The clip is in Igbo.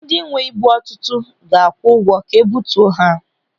Ndị nwee ibu dị ọtụtụ ga-akwụ ụgwọ ka ebutuo ha.